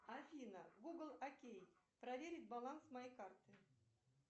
афина гугл окей проверить баланс моей карты